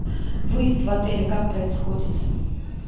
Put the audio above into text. выезд в отеле как происходит